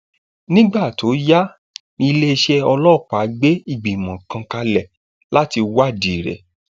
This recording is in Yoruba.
nígbà tó yá níléeṣẹ ọlọpàá gbé ìgbìmọ kan kalẹ láti wádìí rẹ